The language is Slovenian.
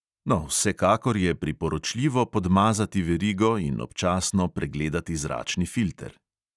No, vsekakor je priporočljivo podmazati verigo in občasno pregledati zračni filter.